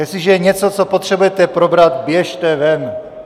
Jestliže je něco, co potřebujete probrat, běžte ven.